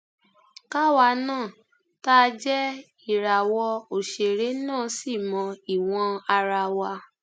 káwa náà tá a jẹ ìràwọ òṣèré náà ṣì mọ ìwọn ara wa